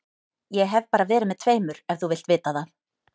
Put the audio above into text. Ég hef bara verið með tveimur ef þú vilt vita það.